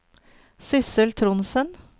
Sidsel Trondsen